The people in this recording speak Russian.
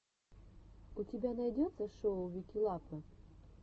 у тебя найдется шоу вики лапы